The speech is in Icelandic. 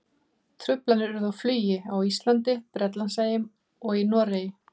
Truflanir urðu á flugi á Íslandi, Bretlandseyjum og í Noregi.